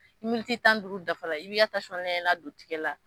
Ni tan ni duuru dafa la, i bi ka lajɛ la don tigɛ la